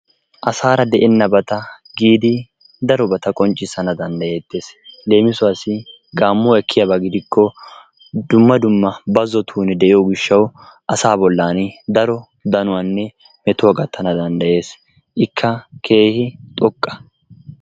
Asaara de'enabata giidi darobata qonccisana dandayetes, leemisuwassi gaamuwa ekkiyaba gidikko dumma dumma bazotuuni de'iyo gishawu asaa bolani daro danuwanne metuwa gatana dandayees ikka keehi xoqqa